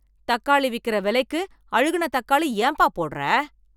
தக்காளி விக்கிற விலைக்கு அழுகுன தக்காளி ஏம்ப்பா போடுற?